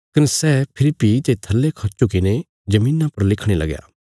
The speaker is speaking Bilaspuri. कने सै फेरी भीं ते थल्ले खौ झुकीने धरतिया पर लिखणे लगया